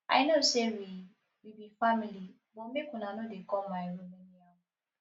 i know sey we we be family but make una no dey come my room